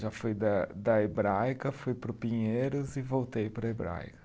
Já fui da da Hebraica, fui para o Pinheiros e voltei para a Hebraica.